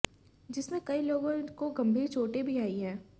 जिसमें कई लोगों को गंभीर चोटें भी आई है